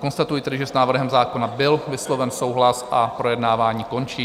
Konstatuji tedy, že s návrhem zákona byl vysloven souhlas a projednávání končí.